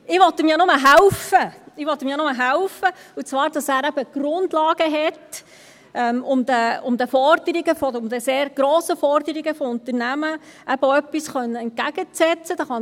Ich will ihm ja nur helfen, ich will ihm ja nur helfen, und zwar, damit er eben die Grundlagen hat, um den sehr grossen Forderungen von Unternehmen etwas entgegensetzen zu können.